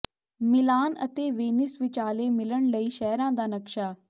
ਮਿਲਾਨ ਅਤੇ ਵੇਨਿਸ ਵਿਚਾਲੇ ਮਿਲਣ ਲਈ ਸ਼ਹਿਰਾਂ ਦਾ ਨਕਸ਼ਾ